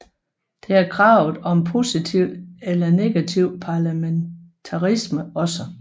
Det har kravet om positiv eller negativ parlamentarisme også